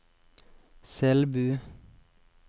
Selbu